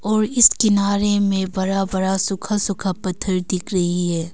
और इस किनारे में बरा बरा सुखा सुखा पत्थर दिख रही है।